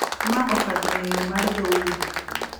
Ma okadho ng’eyo mar dhoudi.